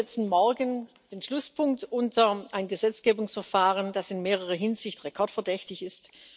Wir setzen morgen den Schlusspunkt unter ein Gesetzgebungsverfahren, das in mehrerer Hinsicht rekordverdächtig ist.